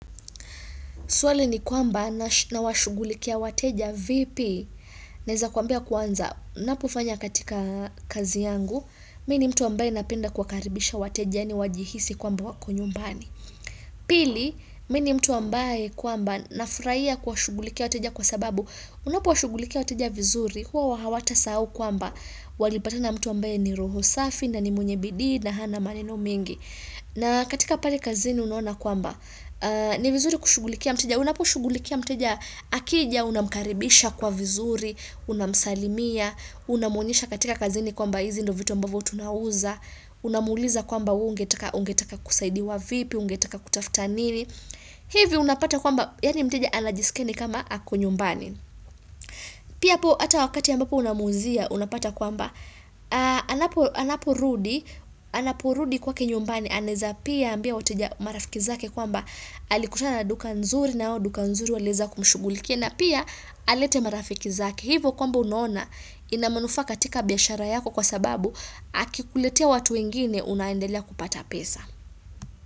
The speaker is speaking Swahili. Swali ni kwamba nawashugulikia wateja vipi. Naweza kwambia kwanza. Napofanya katika kazi yangu. Mimi ni mtu ambaye napenda kuwakaribisha wateja. Na wajihisi kwamba wako nyumbani. Pili, mimi ni mtu ambaye kwamba nafurahia kuwashughulikia wateja kwa sababu. Unapo washughulikia wateja vizuri. Huwa hawatasahau kwamba. Walipatana na mtu ambaye ni roho safi na ni mwenye bidii na hana maneno mingi. Na katika pale kazini unaona kwamba. Ni vizuri kushugulikia mteja, unapo shughulikia mteja akija, unamkaribisha kwa vizuri, unamsalimia, unamuonesha katika kazini kwamba hizi ndio vitu ambavyo tunauza, unamuuliza kwamba ungetaka kusaidiwa vipi, ungetaka kutafuta nini, hivi unapata kwamba, yaani mteja anajiskia ni kama ako nyumbani. Pia hapo hata wakati ambapo unamuuzia, unapata kwamba, anapo rudi, anapo rudi kwake nyumbani, anaweza pia ambia wateja marafiki zake kwamba alikutana na duka nzuri na hao duka nzuri waliweza kumshugulikia na pia alete marafiki zake. Hivyo kwamba unaona ina manufaa katika biashara yako kwa sababu akikuletea watu wengine unaendelea kupata pesa.